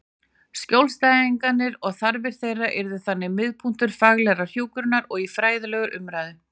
Skjólstæðingarnir og þarfir þeirra yrðu þannig miðpunktur faglegrar hjúkrunar og fræðilegrar umræðu.